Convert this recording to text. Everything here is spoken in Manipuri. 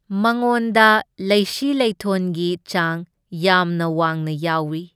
ꯃꯉꯣꯟꯗ ꯂꯩꯁꯤ ꯂꯩꯊꯣꯟꯒꯤ ꯆꯥꯡ ꯌꯥꯝꯅ ꯋꯥꯡꯅ ꯌꯥꯎꯢ꯫